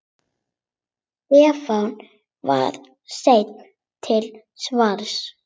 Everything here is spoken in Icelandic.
Stefán var seinn til svars.